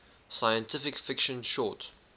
science fiction short